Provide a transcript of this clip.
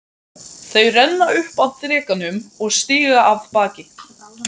Þau renna upp að drekanum og stíga af baki.